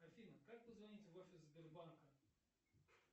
афина как позвонить в офис сбербанка